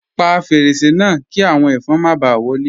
Pa fẹ́rẹ̀sẹ̀ náà, kí awọn ẹfọn má bá wọlé.